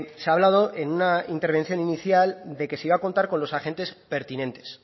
se ha hablado en una intervención inicial de que se iba a contar con los agentes pertinentes